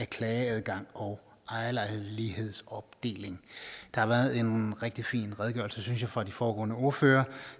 af klageadgang og ejerlejlighedsopdeling der har været en rigtig fin redegørelse synes jeg fra de foregående ordførere